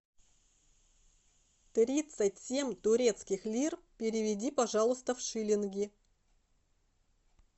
тридцать семь турецких лир переведи пожалуйста в шиллинги